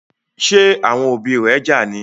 Ṣe àwọn òbí ré já ní?